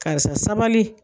Karisa sabali.